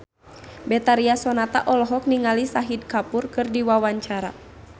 Betharia Sonata olohok ningali Shahid Kapoor keur diwawancara